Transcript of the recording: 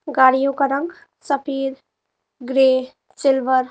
गाड़ियों का रंग सफेद ग्रे सिल्वर --